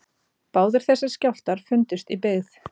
Báðir þessir skjálftar fundust í byggð